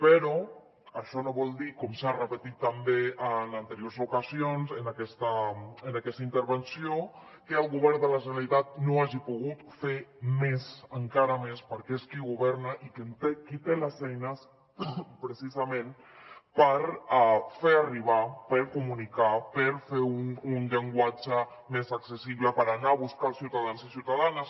però això no vol dir com s’ha repetit també en anteriors ocasions en aquesta moció que el govern de la generalitat no hagi pogut fer més encara més perquè és qui governa i qui té les eines precisament per fer arribar per comunicar per fer un llenguatge més accessible per anar a buscar els ciutadans i ciutadanes